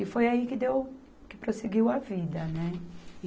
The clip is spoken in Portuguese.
E foi aí que deu, que prosseguiu a vida, né?